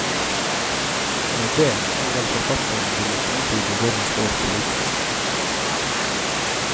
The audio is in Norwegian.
Med det har vel forfatteren villet antyde hvor han står politisk.